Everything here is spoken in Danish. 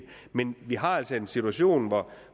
men vi har altså en situation hvor